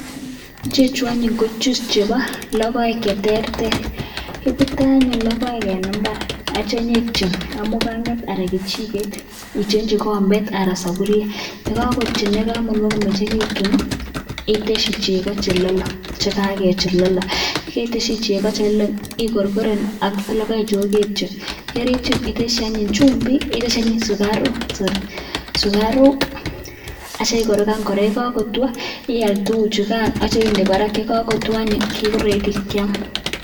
Ichechu anyun ko juice chebo logoek cheterter ibute anyun logoek en imbar akitya inyon ityon ibaishen muganget anan kichiket itionchi kombet anan saburiet yekakotonyok komengekitun iteshi cheko chelolong chekalolong keteshi cheko chelolong igorgoren ak logoek chukoketyon akiteshi anyun chumbik ak sikaruk akigoroganbkoraa ayekotwa iyal tuguk chugan akinde Barak ko ready kiam.